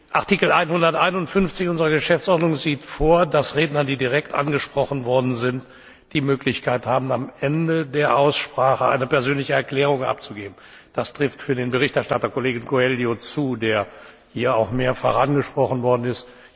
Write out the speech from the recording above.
Artikel 151 unserer Geschäftsordnung sieht vor, dass Redner, die direkt angesprochen worden sind, die Möglichkeit haben, am Ende der Aussprache eine persönliche Erklärung abzugeben. Das trifft für den Berichterstatter, Herrn Coelho, zu, der hier auch mehrfach angesprochen worden ist.